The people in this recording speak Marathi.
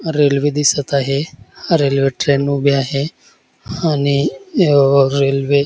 रेल्वे दिसत आहे रेल्वे ट्रेन उभी आहे आणि अ रेल्वे--